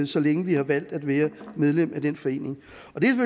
så længe vi har valgt at være medlem af den forening